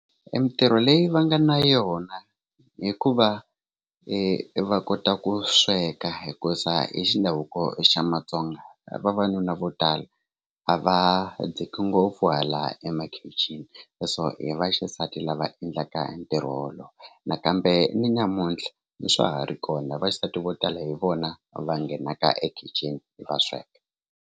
I mitirho leyi va nga na yona i ku va va kota ku sweka hikuza hi xi ndhavuko xa matsonga vavanuna vo tala a va dziki ngopfu hala emakhixini leswo i vaxisati lava endlaka hi ntirho wolowo nakambe ni namuntlha ni swa ha ri kona vaxisati vo tala hi vona va nghenaka ekhixini hi va sweka.